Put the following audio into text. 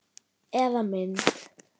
Eða mynd.